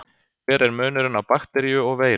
hver er munurinn á bakteríu og veiru